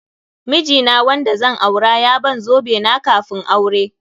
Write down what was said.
Miji na wanda zan aure ya ban zobe na kafun aure.